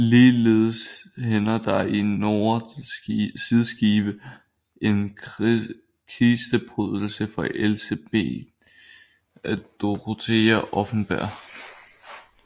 Ligeledes hænger der i nordre sideskib en kisteprydelse fra Elsebet Dorothea Offenberg